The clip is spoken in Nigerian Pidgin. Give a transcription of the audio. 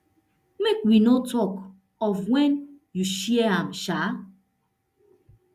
make we no tok of wen you share am um